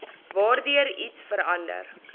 waardeur iets verander